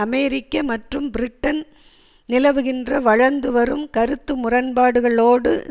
அமெரிக்க மற்றும் பிரிட்டன் நிலவுகின்ற வளர்ந்துவரும் கருத்து முரண்பாடுகளோடு